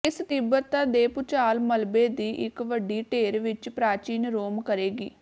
ਇਸ ਤੀਬਰਤਾ ਦੇ ਭੂਚਾਲ ਮਲਬੇ ਦੀ ਇੱਕ ਵੱਡੀ ਢੇਰ ਵਿਚ ਪ੍ਰਾਚੀਨ ਰੋਮ ਕਰੇਗੀ